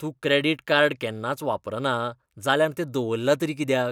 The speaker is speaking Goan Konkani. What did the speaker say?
तूं क्रॅडिट कार्ड केन्नाच वापरना जाल्यार तें दवरलां तरी कित्याक?